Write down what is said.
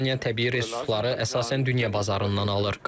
Estoniya təbii resursları əsasən dünya bazarından alır.